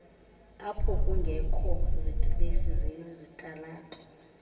aphokungekho zidilesi zezitalato